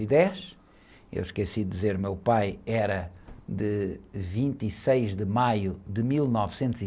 ... e dez. Eu esqueci de dizer, meu pai era de vinte e seis de maio de mil novecentos e...